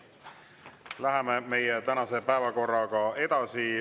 Läheme meie tänase päevakorraga edasi.